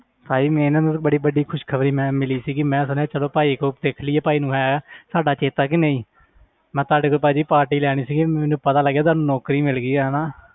ਬੜੀ ਵੱਡੀ ਖ਼ੁੱਸ਼ਖਬਰੀ ਮੈਂ ਮਿਲੀ ਸੀਗੀ ਮੈਂ ਦੇਖ ਲਈਏ ਭਾਈ ਨੂੰ ਹੈ ਸਾਡਾ ਚੇਤਾ ਕਿ ਨਹੀਂ ਮੈਂ ਤੁਹਾਡੇ ਤੋਂ ਭਾਜੀ party ਲੈਣੀ ਸੀਗੀ ਮੈਨੂੰ ਪਤਾ ਲੱਗਿਆ ਤੁਹਾਨੂੰ ਨੌਕਰੀ ਮਿਲ ਗਈ ਹੈ ਹਨਾ,